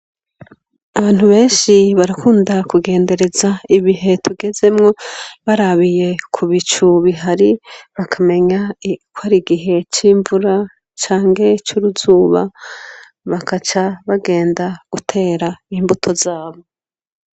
Abantu benshi barakunda kugenderez' ibihe tugezemwo barabiye kubicu bihari bakamenya k' arigihe c imvura canke c' uruzuba bakaca bagenda guter' imbuto zabo.